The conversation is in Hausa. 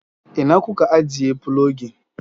ina kuka ijiye filogin?